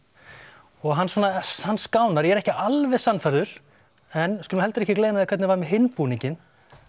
og hann svona hann skánar ég er ekki alveg sannfærður en við skulum heldur ekki gleyma því hvernig var með hinn búninginn